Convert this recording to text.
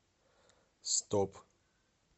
стоп